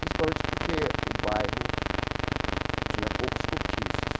Principalmente porque o bairro tinha poucos cortiços.